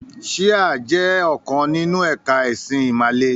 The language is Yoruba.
“Síhà” jẹ́ ọ̀kan nínú ẹ̀ka ẹ̀sìn ìmàle.